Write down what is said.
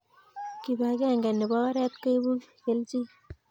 Kibakeng nebo oret koibu keljin